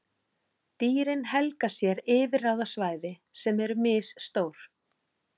Dýrin helga sér yfirráðasvæði sem eru misstór.